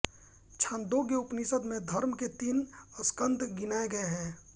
छान्दोग्य उपनिषद में धर्म के तीन स्कन्ध गिनाए गये हैं